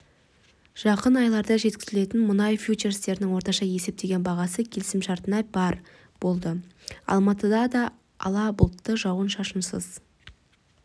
жақын айларда жеткізілетін мұнай фьючерстерінің орташа есептеген бағасы келісімшартына барр болды алматыда да ала бұлтты жауын-шашынсыз